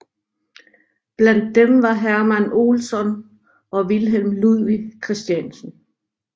Blandt dem var Hermann Olson og Wilhelm Ludwig Christiansen